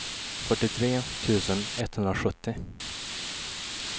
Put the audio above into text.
fyrtiotre tusen etthundrasjuttio